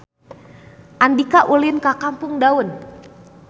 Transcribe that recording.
Andika ulin ka Kampung Daun